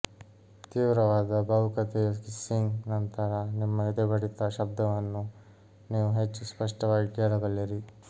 ತೀವ್ರವಾದ ಭಾವುಕತೆಯ ಕಿಸ್ಸಿಂಗ್ ನಂತರ ನಿಮ್ಮ ಎದೆಬಡಿತದ ಶಬ್ದವನ್ನು ನೀವು ಹೆಚ್ಚು ಸ್ಪಷ್ಟವಾಗಿ ಕೇಳಬಲ್ಲಿರಿ